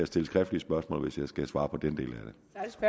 stille skriftlige spørgsmål hvis jeg skal svare på den del